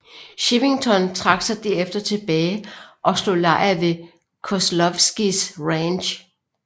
Chivington trak sig derefter tilbage og slog lejr ved Kozlowskis Ranch